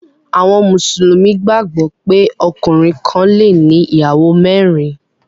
Àwọn Mùsùlùmí gbàgbó pé ọkùnrin kán le ní ìyàwó mérin.